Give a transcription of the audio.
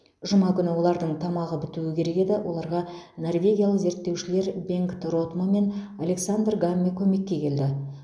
жұма күні олардың тамағы бітуі керек еді оларға норвегиялық зерттеушілер бенгт ротмо мен александр гамме көмекке келді